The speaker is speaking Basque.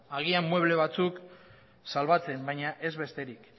agian mueble batzuk salbatzen baina ez besterik